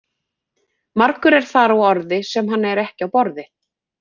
Margur er þar á orði sem hann er ekki á borði.